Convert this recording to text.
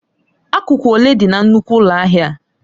Akụkụ ole dị na nnukwu ụlọ ahịa a?